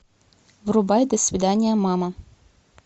врубай до свидания мама